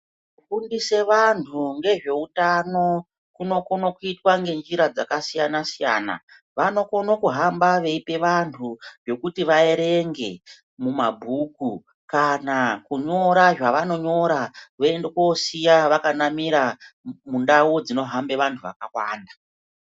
Kufundisa vantu ngezveutano, kunokona kuyitwa ngenjira dzakasiyana-siyana, vanokono kuhamba veyipa vantu zvokuti vaerenge mumabhuku, kana kunyora zvavanonyora voyende kosiya vakanamira mundau dzinohambe vantu vakawanda.